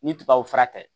Ni tubabu fura tɛ